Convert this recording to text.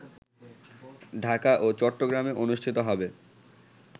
ঢাকা ও চট্টগ্রামে অনুষ্ঠিত হবে